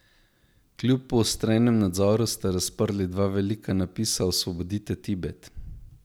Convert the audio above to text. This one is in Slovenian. Kljub poostrenemu nadzoru so razprli dva velika napisa Osvobodite Tibet.